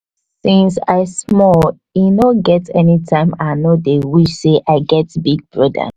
since i small e no get anytim i no dey wish sey i get big broda